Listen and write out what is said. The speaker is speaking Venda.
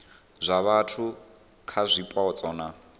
zwa vhathu kha zwipotso na